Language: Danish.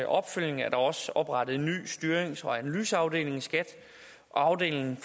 opfølgning er der også oprettet en ny styrings og analyseafdeling i skat afdelingen